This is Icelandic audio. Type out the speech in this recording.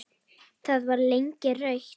Það var lengi rautt.